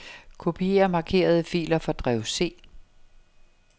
Kopier markerede filer fra drev C.